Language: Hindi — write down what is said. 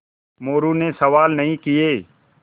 मोरू ने सवाल नहीं किये